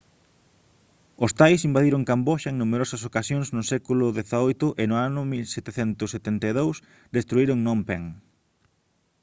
os thais invadiron camboxa en numerosas ocasións no século xviii e no 1772 destruíron phnom phen